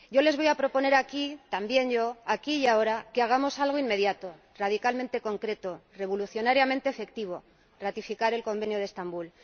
Yo les voy a proponer aquí y ahora, también yo, que hagamos algo inmediato, radicalmente concreto, revolucionariamente efectivo ratificar el Convenio de Estambul.